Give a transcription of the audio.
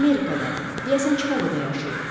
Amerikada, deyəsən Çikaqoda yaşayıb.